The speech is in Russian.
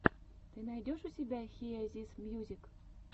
ты найдешь у себя хиэ зис мьюзик